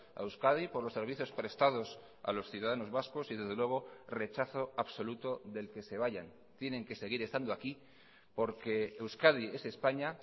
a euskadi por los servicios prestados a los ciudadanos vascos y desde luego rechazo absoluto del que se vayan tienen que seguir estando aquí porque euskadi es españa